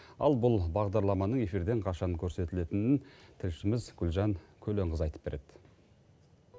ал бұл бағдарламаның эфирден қашан көрсетілетінін тілшіміз гүлжан көленқызы айтып береді